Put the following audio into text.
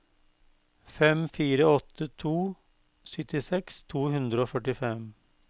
fem fire åtte to syttiseks to hundre og førtifem